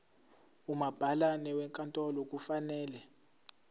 umabhalane wenkantolo kufanele